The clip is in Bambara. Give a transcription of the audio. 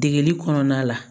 Degeli kɔnɔna la